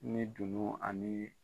Ni dunun ani